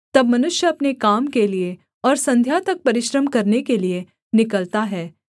तब मनुष्य अपने काम के लिये और संध्या तक परिश्रम करने के लिये निकलता है